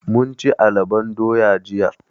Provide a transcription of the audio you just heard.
Mun ci alabon doya jiya.